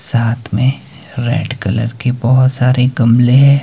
साथ में red colour के बहोत सारे गमले हैं।